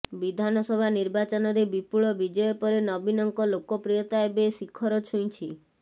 ବିଧାନସଭା ନିର୍ବାଚନରେ ବିପୁଳ ବିଜୟ ପରେ ନବୀନଙ୍କ ଲୋକପ୍ରିୟତା ଏବେ ଶିଖର ଛୁଇଁଛି